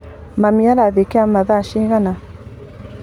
Mami arathiĩ kĩama thaa cigana?